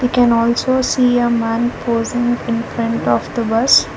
we can also see a man posing in front of the bus.